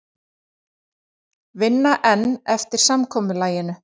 Vinna enn eftir samkomulaginu